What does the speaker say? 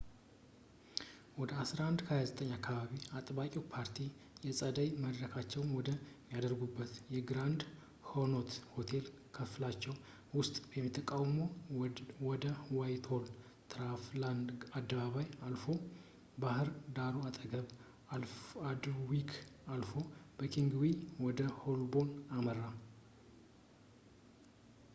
ወደ 11፡29 አካባቢ፣ አጥባቂው ፓርቲ የጸደይ መድረካቸውን ወደሚያደርጉበት በግራንድ ኮኖት የሆቴል ክፍላቸው ውስጥ ተቃውሞው ወደ ዋይትሆል፣ ትራፋልጋር አደባባይን አልፎ፣ በባህድ ዳሩ አጠገብ፣ በአልድዊክ አልፎ በኪንግስዌይ ወደ ሆልቦርን አመራ